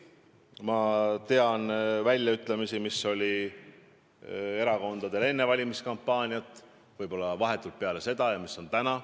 Ma tean erakondade väljaütlemisi enne valimiskampaaniat, vahetult peale seda ja nüüd praegu.